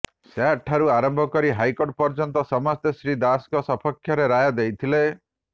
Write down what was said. SAT ଠାରୁ ଆରମ୍ଭ କରି ହାଇକୋର୍ଟ ପର୍ଯ୍ୟନ୍ତ ସମସ୍ତେ ଶ୍ରୀ ଦାସଙ୍କ ସପକ୍ଷରେ ରାୟ ଦେଇଥିଲେ